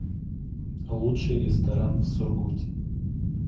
лучший ресторан в сургуте